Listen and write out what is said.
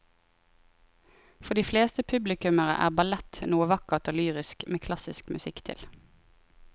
For de fleste publikummere er ballett noe vakkert og lyrisk med klassisk musikk til.